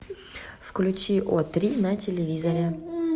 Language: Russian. включи о три на телевизоре